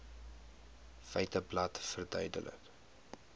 feiteblad verduidelik